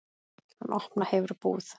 Hann opna hefur búð.